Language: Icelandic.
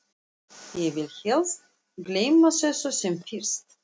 Ég vil helst gleyma þessu sem fyrst.